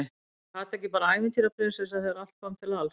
Var Kata ekki bara ævintýra- prinsessa þegar allt kom til alls?